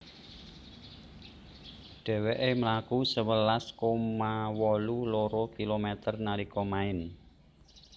Dhèwèkè mlaku sewelas koma wolu loro kilometer nalika maèn